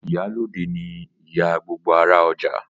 Ìyálóde ni ìyá gbogbo ará ọjà